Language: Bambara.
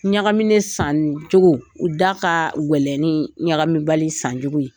Ɲagaminen san cogo, o da ka gɛlɛnni ɲagami bali san cogo ye.